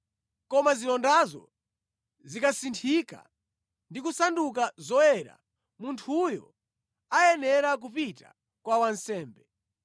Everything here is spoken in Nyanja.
Koma zilondazo zikasinthika ndi kusanduka zoyera, munthuyo ayenera kupita kwa wansembe.